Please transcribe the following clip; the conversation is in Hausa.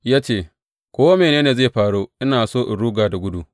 Ya ce, Ko mene ne zai faru, ina so in ruga da gudu.